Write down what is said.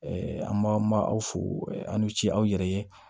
an b'a aw fo an ni ce aw yɛrɛ ye